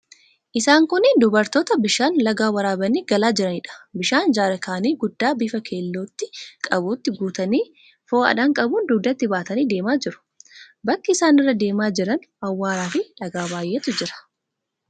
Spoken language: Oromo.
Isaan kunneen dubartoota bishaan lagaa waraabanii galaa jiraniidha. Bishaan jaarkaanii guddaa bifa keellootti qabutti guutanii, fo'aadhaan qabuun dugdatti baatanii deemaa jiru. Bakki isaan irra deemaa jiran awwaaraafi dhagaa baay'eetu jira.